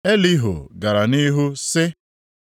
Elihu gara nʼihu sị: